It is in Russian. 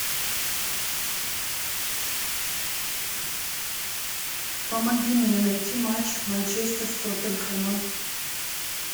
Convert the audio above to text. помоги мне найти матч манчестер с тоттенхэмом